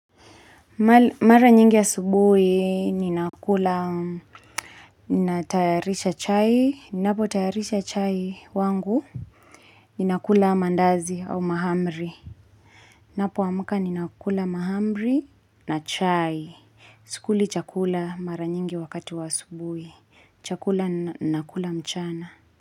Mara nyingi ya asubuhi ninakula ninatayarisha chai ninapotayarisha chai wangu ninakula mandazi au mahamri ninapoamuka ninakula mahamri na chai sikuli chakula mara nyingi wakati wa asubuhi chakula ninakula mchana.